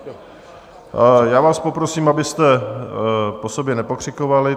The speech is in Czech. Já vás poprosím, abyste po sobě nepokřikovali.